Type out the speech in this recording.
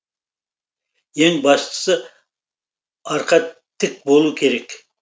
ең бастысы арқа тік болу керек